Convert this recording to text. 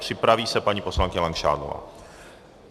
Připraví se paní poslankyně Langšádlová.